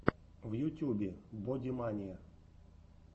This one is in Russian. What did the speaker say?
в ютьюбе бодимания